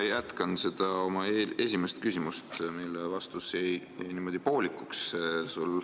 Ma jätkan oma esimest küsimust, mille vastus jäi sul poolikuks.